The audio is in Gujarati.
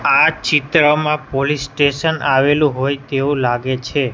આ ચિત્રમાં પોલીસ સ્ટેશન આવેલુ હોઇ તેવુ લાગે છે.